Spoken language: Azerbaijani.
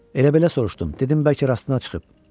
Elə-belə soruşdum, dedim bəlkə rastına çıxıb.